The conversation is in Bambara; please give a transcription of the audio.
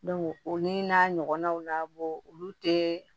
o ni n'a ɲɔgɔnnaw na olu tɛ